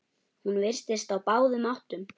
Hún virtist á báðum áttum.